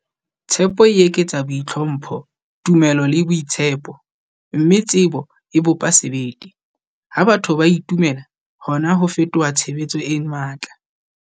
Tshepo e eketsa boitlhompho, tumelo le boitshepo, mme tsebo e bopa sebete. Ha batho ba itumela, hona ho fetoha tshebetso e matla.